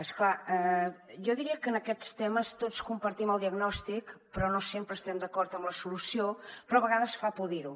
és clar jo diria que en aquests temes tots compartim el diagnòstic però no sempre estem d’acord en la solució però a vegades fa por dir ho